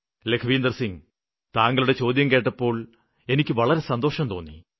ലഖ്വിന്ദര് സിംഗ് താങ്കളുടെ ചോദ്യം കേട്ടപ്പോള് എനിക്ക് വളരെ സന്തോഷം തോന്നി